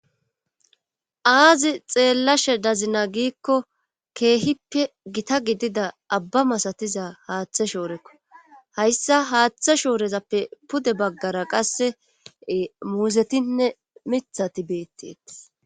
aazi xeellashe dazina giikko keehippe gita gidida abba masatiza haaththe shoorekko hayssa haaththe shoorezappe pude baggara qasse muuzetinne mithati beetteetis